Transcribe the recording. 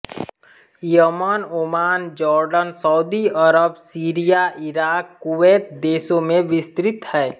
Yemen Oman Jordan Saudi Arab Syria Iraq Kuwait देशों में विस्तृत है